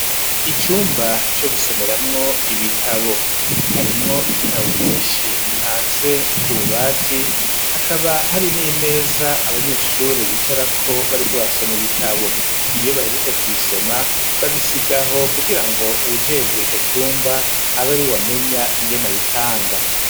Icumba co gusomeramwo ibitabo, harimwo ibitabo vyinshi bipanze ku bubati, hakaba hari n'imeza abanyeshure bicarako bariko basoma ibitabo; iyo bahejeje kubisoma babisiga aho kugira ngo uwujejwe ico cumba abe ariwe amenya ingene abipanga.